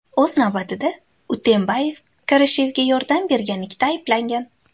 O‘z navbatida, Utembayev Karashevga yordam berganlikda ayblangan.